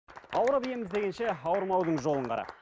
ауырып ем іздегенше ауырмаудың жолын қара